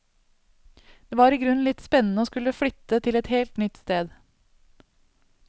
Det var i grunnen litt spennende å skulle flytte til et helt nytt sted.